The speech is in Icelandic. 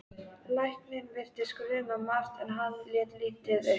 Lækninn virtist gruna margt en hann lét lítið uppi.